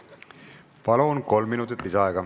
Palun, kolm minutit lisaaega!